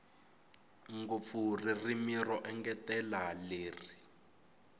ngopfu ririmi ro engetela leri